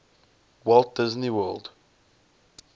walt disney world